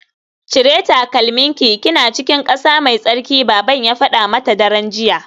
Cire takalminki kina cikin kasa mai tsarki baban ya fada mata daren jiya